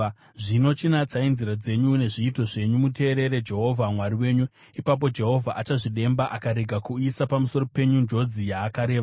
Zvino, chinatsai nzira dzenyu nezviito zvenyu muteerere Jehovha Mwari wenyu. Ipapo Jehovha achazvidemba akarega kuuyisa pamusoro penyu njodzi yaakareva.